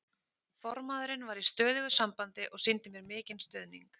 Formaðurinn var í stöðugu sambandi og sýndi mér mikinn stuðning.